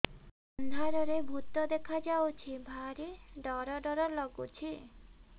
ଅନ୍ଧାରରେ ଭୂତ ଦେଖା ଯାଉଛି ଭାରି ଡର ଡର ଲଗୁଛି